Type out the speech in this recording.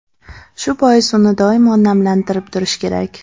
Shu bois uni doimo namlantirib turish kerak.